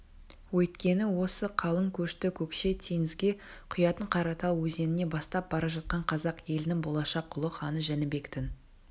өйткені осы қалың көшті көкше теңізге құятын қаратал өзеніне бастап бара жатқан қазақ елінің болашақ ұлы ханы жәнібектің